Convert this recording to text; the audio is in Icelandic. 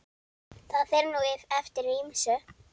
Það fer nú eftir ýmsu.